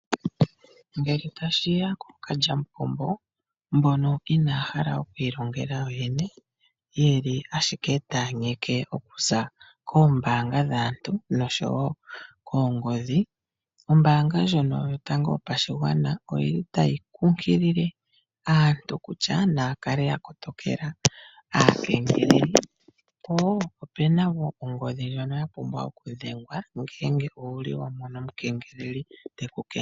Ngele tashi ya kookalyamupombo mboka inaya hala oku ilongela kuyoyene taya yugu ashike okuza koombaanga dhaantu noshowo koongodhi, ombaanga ndjoka yotango yopashigwana otayi kunkilile aantu kutya naya kale ya kotokela po opu na wo ongodhi ndjoka ho vulu okudhengela uuna wa mono pu na omukengeleledhi te ku kengelele.